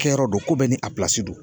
Kɛyɔrɔ don ko bɛɛ ni a don.